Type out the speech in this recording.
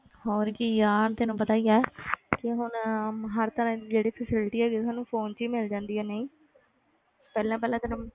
ਹੋਰ ਕੀ ਯਾਰ ਤੈਨੂੰ ਪਤਾ ਹੀ ਹੈ ਕਿ ਹੁਣ ਹਰ ਤਰ੍ਹਾਂ ਦੀ ਜਿਹੜੀ facility ਹੈਗੀ ਸਾਨੂੰ phone ਚੋਂ ਹੀ ਮਿਲ ਜਾਂਦੀ ਹੈ ਨਹੀਂ ਪਹਿਲਾਂ ਪਹਿਲਾਂ ਤੈਨੂੰ